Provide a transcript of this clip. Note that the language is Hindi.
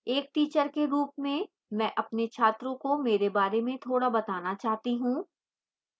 एक teacher के रूप में मैं अपने छात्रों को मेरे बारे में थोड़ा बताना चाहती हूं